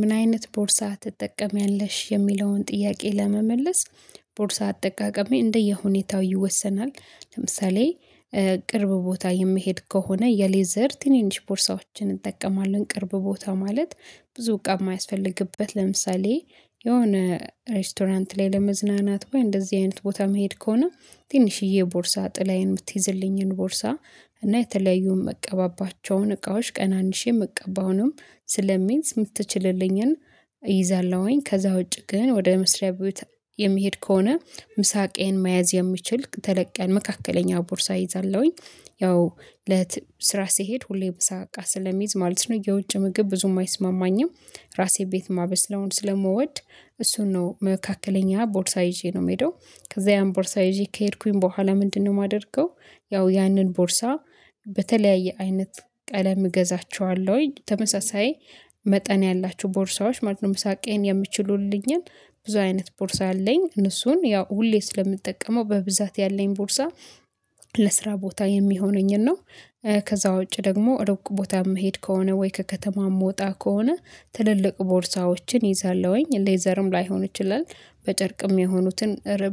ምን አይነት ቦርሳ ትጠቀሚያለሽ? የሚለውን ጥያቄ ለመመለስ ቦርሳ አጠቃቀሜ እንደየሁኔታው ይወሰናል ለምሳሌ ቅርብ ቦታ የምሄድ ከሆነ የሌዘር ትንንሽ ቦርሳዎችን እጠቀማለሁኝ ቅርብ ቦታ ማለት ብዙ እቃ የማያስፈልግበት ለምሳሌ የሆነ ሬስቶራንት ላይ ለመዝናናት ወይ እንደዚህ አይነት ቦታ እምሄድ ከሆነ ትንሽዬ ቦርሳ ጥላዬን የምትይዝልኝን ቦርሳ እና የተለያዩም መቀባባቸውን እቃዎች ቀናንሼ መቀባውንም ስለሚይዝ የምትችልልኝን እይዛለሁኝ ከዛ ውጪ ግን ወደ መስሪያ ቤት የምሄድ ከሆነ ምሳ እቃየን መያዝ የሚችል ተለቀ ያለ መካከለኛ ቦርሳ እይዛለሁኝ። ያው ለ ስራ ስሄድ ሁሌም ምሳ እቃ ስለሚይዝ ማለት ነው የውጭ ምግብ ብዙም አይስማማኝም። ራሴ ቤት ማበስለውን ስለምወድ እሱን ነው መካከለኛ ቦርሳ ይዤ ነው የምሄደው። ከዛ ያን ቦርሳ ይዤ ከሄድኩኝ በኋላ ምንድነው የማደርገው? ያው ያንን ቦርሳ በተለያየ አይነት ቀለም እገዛቸዋለሁ ተመሳሳይ መጠን ያላቸው ቦርሳዎች ማለት ነው ምሳቄን የምችሉልኝን ብዙ አይነት ቦርሳ አለኝ እነሱን ያው ሁሌ ስለምጠቀመው በብዛት ያለኝ ቦርሳ። ለስራ ቦታ የሚሆነኝን ነው። ከዛ ውጪ ደግሞ ሩቅ ቦታ የምሄድ ከሆነ ወይ ከከተማ ምወጣ ከሆነ ትልልቅ ቦርሳዎችን እይዛለሁኝ ሌዘርም ላይሆን ይችላል በጨርቅም የሆኑትን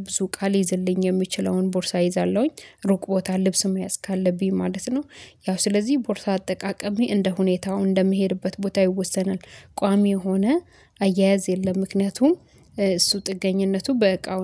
ብዙ እቃል ሊይዝልኝ የሚችለውን ቦርሳ እይዛለሁኝ ሩቅ ቦታ ልብስ መያዝ ካለብኝ ማለት ነው። ያው ስለዚህ ቦርታ አጠቃቀሜ እንደ ሁኔታው እንደምሄድበት ቦታ ይወሰናል። ቋሚ የሆነ አያያዝ የለም ምክንያቱም እሱ ጥገኝነቱ በቃው